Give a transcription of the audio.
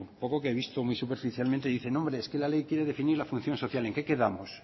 poco que he visto muy superficialmente dicen hombre es que la ley quiere definir la función social en qué quedamos